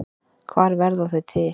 Hvar verða þau til?